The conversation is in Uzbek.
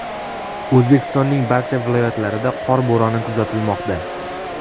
O‘zbekistonning barcha viloyatlarida qor bo‘roni kuzatilmoqda.